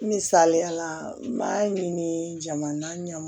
Misaliyala n b'a ɲini jamana ɲɛmaa